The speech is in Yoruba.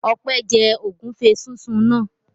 Ọpẹ́ jẹ ògúnfe sísun náà?